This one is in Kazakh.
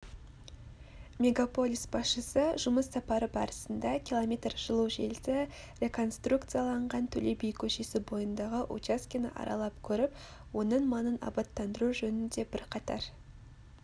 мегаполис басшысы жұмыс сапары барысында км жылу желісі реконструкцияланған төле би көшесі бойындағы учаскені аралап көріп оның маңын аббаттандыру жөнінде бірқатар